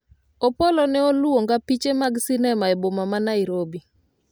Opolo ne oluonga piche mag sinema e boma ma Nairobi